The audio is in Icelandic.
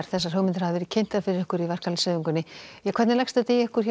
þessar hugmyndir hafa verið kynntar fyrir ykkur í verkalýðshreyfingunni hvernig leggst þetta í ykkur